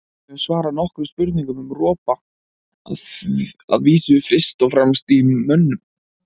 Við höfum svarað nokkrum spurningum um ropa, að vísu fyrst og fremst í mönnum.